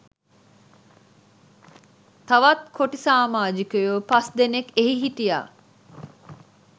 තවත් කොටි සාමාජිකයෝ පස් දෙනෙක් එහි හිටියා